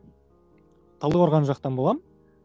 талдықорған жақтан боламын